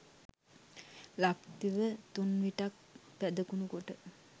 ලක්දිව තුන්විටක් පැදකුණු කොට